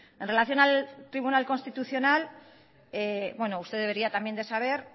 en relación al tribunal constitucional usted debería también de saber